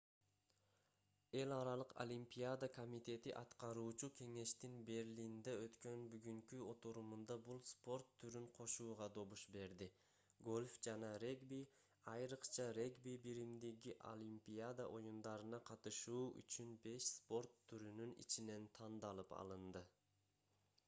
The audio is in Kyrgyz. эл аралык олимпиада комитети аткаруучу кеңештин берлинде өткөн бүгүнкү отурумунда бул спорт түрүн кошууга добуш берди гольф жана регби айрыкча регби биримдиги олимпиада оюндарына катышуу үчүн беш спорт түрүнүн ичинен тандалып алынды